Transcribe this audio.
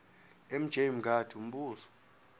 mj mngadi umbuzo